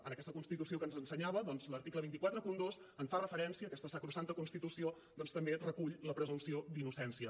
en aquesta constitució que ens ensenyava doncs l’article dos cents i quaranta dos hi fa referència aquesta sacrosanta constitució també recull la presumpció d’innocència